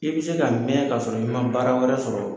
I bɛ se ka mɛn ka sɔrɔ i man baara wɛrɛ sɔrɔ.